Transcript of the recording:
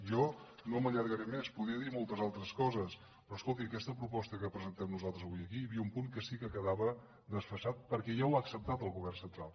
jo no m’allargaré més podria dir moltes altres coses però escolti a aquesta proposta que presentem nosaltres aquí hi havia un punt que sí que quedava desfasat perquè ja ho ha acceptat el govern central